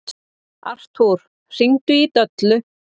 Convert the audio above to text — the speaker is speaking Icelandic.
Artúr, hringdu í Döllu.